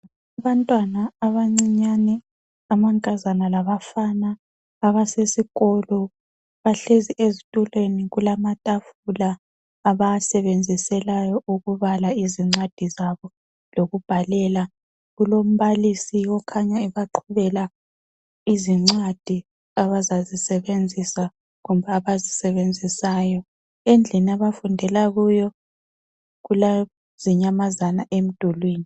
Abantwana abancinyane amankazana labafana abasesikolo bahlezi ezitulweni kulamatafula abawasebenziselayo ukubala izincwadi zabo lokubhalela, kulombalisi okhanya ebaqhubela izincwadi abazazisebenzisa kumbe abazisebenzisayo endlini abafundela kuyo kulezinyamazana emdulwini.